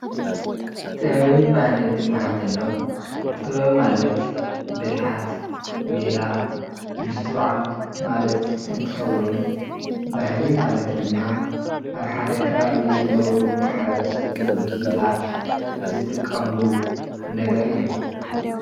ጥበብን ባህልን እንትብሃል ተሎ ጥበብ ማለት ብልሓት፣ ሜላ፣ ምስትውዓል ማለት እንትከውን ፤ ባህሊ ማለት ድማ ኣብ ሓደ ከባቢ ዝነብሩ ማሕበረሰብ ወይ ህዝብታት ዝጥቀምሉ ነገር እዩ፡፡